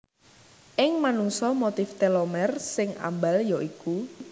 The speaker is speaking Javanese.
Ing manungsa motif telomer sing ambal ya iku